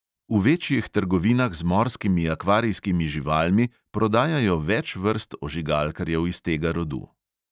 V večjih trgovinah z morskimi akvarijskimi živalmi prodajajo več vrst ožigalkarjev iz tega rodu.